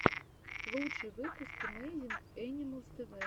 лучший выпуск эмэйзинг энималс тэвэ